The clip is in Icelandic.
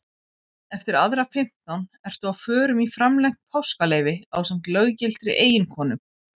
Eftir aðra fimmtán ertu á förum í framlengt páskaleyfi ásamt löggiltri eiginkonu.